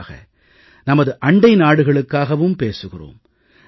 குறிப்பாக நமது அண்டை நாடுகளுக்காகவும் பேசுகிறோம்